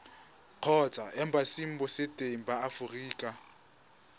kgotsa embasing botseteng ba aforika